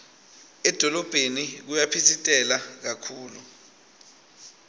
edolobheni kuyaphitsitela kakhulu